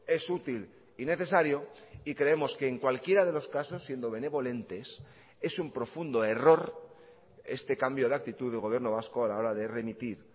es útil y necesario y creemos que en cualquiera de los casos siendo benevolentes es un profundo error este cambio de actitud del gobierno vasco a la hora de remitir